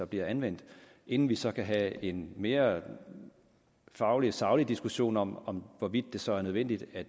bliver anvendt inden vi så kan have en mere faglig saglig diskussion om om hvorvidt det så er nødvendigt at